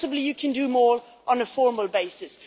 Possibly you can do more on a formal basis.